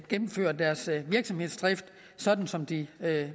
gennemføre deres virksomhedsdrift sådan som de